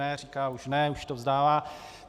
Ne, říká už ne, už to vzdává.